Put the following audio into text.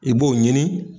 I b'o ɲini